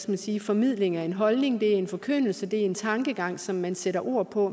man sige formidling af en holdning det en forkyndelse det er en tankegang som man sætter ord på